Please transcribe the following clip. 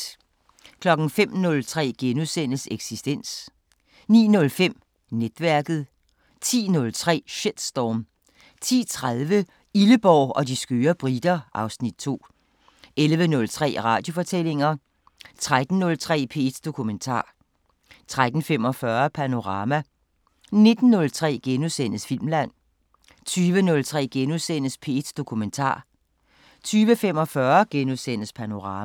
05:03: Eksistens * 09:05: Netværket 10:03: Shitstorm 10:30: Illeborg og de skøre briter (Afs. 2) 11:03: Radiofortællinger 13:03: P1 Dokumentar 13:45: Panorama 19:03: Filmland * 20:03: P1 Dokumentar * 20:45: Panorama *